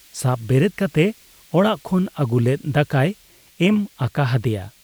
ᱥᱟᱵ ᱵᱮᱨᱮᱫ ᱠᱟᱛᱮ ᱚᱲᱟᱜ ᱠᱷᱚᱱ ᱟᱹᱜᱩ ᱞᱮᱫ ᱫᱟᱠᱟᱭ ᱮᱢ ᱟᱠᱟ ᱦᱟᱫᱮᱭᱟ ᱾